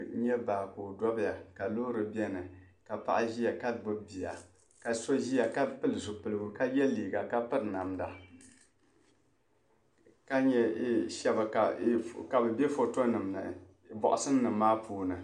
N-nye baa ka o dɔbiya ka loori beni ka paɣa ʒiya ka gbubi bia ka. so ʒiya ka pili zupiligu ka ye liiga ka piri namda ka nye shɛba ka bɛ be fotonim' ni bɔɣusinim' maa pumaa.